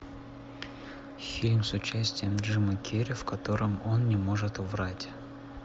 фильм с участием джимма керри в котором он не может врать